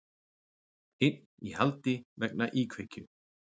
Einn í haldi vegna íkveikju